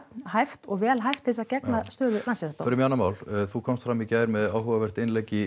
hæft og vel hæft til að gegna stöðu já förum í annað mál þú komst fram í gær með áhugavert innlegg